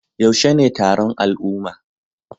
Yaushe ne taron al'umma?